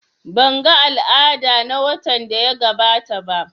Ban ga al'ada na watan daya gabata ba